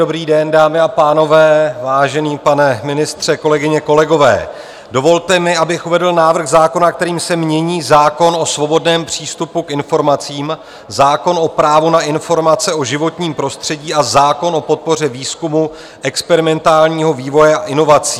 Dobrý den, dámy a pánové, vážený pane ministře, kolegyně, kolegové, dovolte mi, abych uvedl návrh zákona, kterým se mění zákon o svobodném přístupu k informacím, zákon o právo na informace o životním prostředí a zákon o podpoře výzkumu, experimentálního vývoje a inovací.